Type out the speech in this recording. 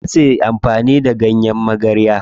Za suyi amfani da ganyen magarya.